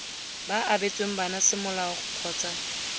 ba abetsweng bana semolao kgotsa